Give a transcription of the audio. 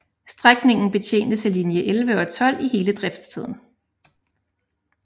Strækningen betjenes af linje 11 og 12 i hele driftstiden